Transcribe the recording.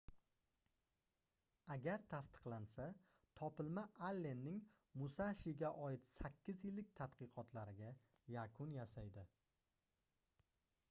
agar tasdiqlansa topilma allenning musashiga oid sakkiz yillik tadqiqotlariga yakun yasaydi